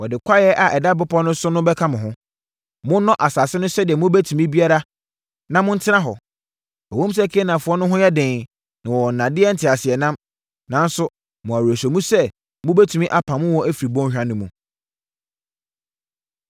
Wɔde kwaeɛ a ɛda bepɔ no so no bɛka mo ho. Monnɔ asase no sɛdeɛ mobɛtumi biara na montena hɔ. Ɛwom sɛ Kanaanfoɔ no ho yɛ den na wɔwɔ nnadeɛ nteaseɛnam, nanso mewɔ awerɛhyɛmu sɛ mobɛtumi apamo wɔn afiri bɔnhwa no mu.”